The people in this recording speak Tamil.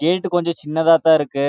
கேட் கொஞ்சம் சினதா தான் இருக்கு